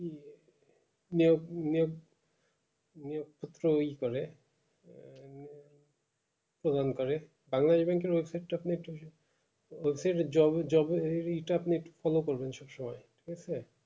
নিয়োগ নিয়োগ নিয়োগপত্র ই করে প্রদান করে বাংলা event এর website টা আপনি একটু website এ job এ job এর এটা আপনি একটু follow করবেন সব সময় ঠিক আছে